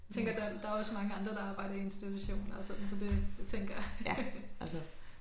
Tænker der er er også mange andre der arbejder i institutioner og sådan så det tænker